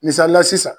Misalila sisan